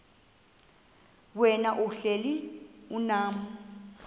wena uhlel unam